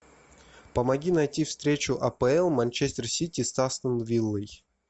помоги найти встречу апл манчестер сити с астон виллой